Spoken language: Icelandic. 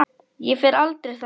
Ég fer aldrei þangað.